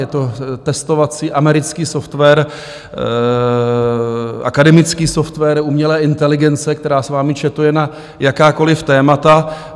Je to testovací americký software, akademický software umělé inteligence, která s vámi chatuje na jakákoli témata.